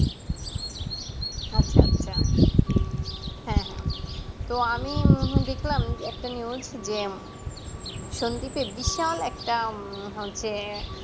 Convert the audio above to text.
আচ্ছা আচ্ছা হ্যাঁ হ্যাঁ তো আমি দেখলাম উঁহু দেখলাম একটা news যে উম সন্দীপের বিশাল একটা হচ্ছে